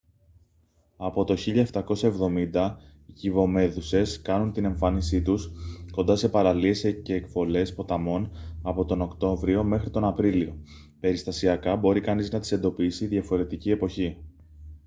από το 1770 οι κυβομέδουσες κάνουν την εμφάνισή τους κοντά σε παραλίες και εκβολές ποταμών από τον οκτώβριο μέχρι τον απρίλιο περιστασιακά μπορεί κανείς να τις εντοπίσει διαφορετική εποχή